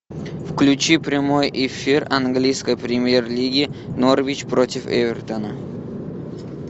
включи прямой эфир английской премьер лиги норвич против эвертона